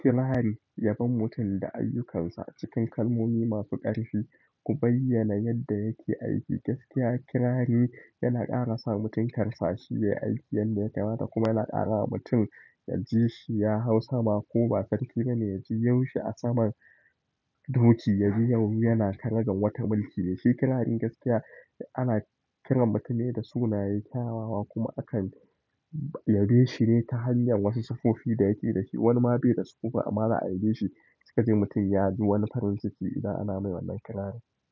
Kirari yabon mutum da ayyukansa cikin kalmomi masu ƙarfi, ku bayyana yadda yake aiki gaskiya. Kirari yana ƙara sa mutum karsa shi yayi aiki, yanda ya kamata kuma yana ƙara wa mutum yaji shi ya hau sama ko ba sarki ba ne ya ji yaushe a saman doki, ya ji yawo yana karagar wata mulki. Shi kirarin gaskiya ana kiran mutan ne da sunaye, kyawawa kuma akan yabe shi ne ta hanyar wasu siffofi da yake dashi. Wani ma bai da su ba, ama za'a yabe shi. Suka je mutum ya ji wani farin ciki idan ana mai wannan kirari.